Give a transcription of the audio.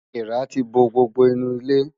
Èèrà ti bo gbogbo inú ilé.